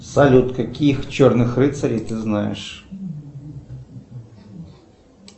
салют каких черных рыцарей ты знаешь